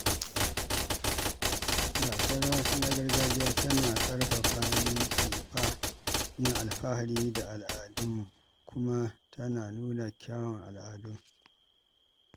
Gasar rawa ta gargajiya tana ƙarfafa min yin alfahari da al’adunmu kuma tana nuna kyawun al'adun.